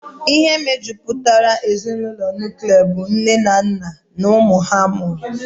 Ihe mejupụtara ezinụlọ nuklia bụ nne na nna na ụmụ ha mụrụ.